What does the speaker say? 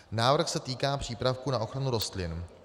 Návrh se týká přípravků na ochranu rostlin.